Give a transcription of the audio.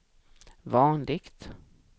vanligt